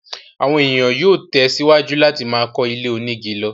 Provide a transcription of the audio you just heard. àwọn èèyàn yóò tẹ̀ síwájú láti máa kọ́ ilé onígi lọ.